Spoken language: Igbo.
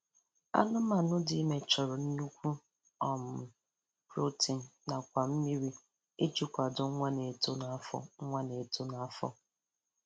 Anụmanụ dị ime chọrọ nnukwu um protein nakwa mmiri iji kwado nwa na-eto n'afọ nwa na-eto n'afọ